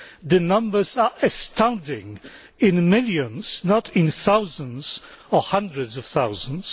The numbers are astounding in the millions, not thousands or hundreds of thousands.